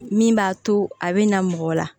Min b'a to a bɛ na mɔgɔ la